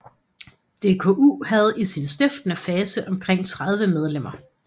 DKU havde i sin stiftende fase omkring 30 medlemmer